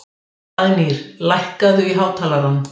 Dagnýr, lækkaðu í hátalaranum.